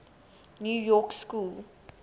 new york school